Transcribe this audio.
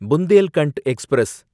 Bundelkhand express